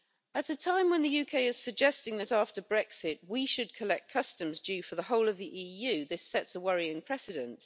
At a time when the UK is suggesting that, after Brexit, we should collect customs due for the whole of the EU, this sets a worrying precedent.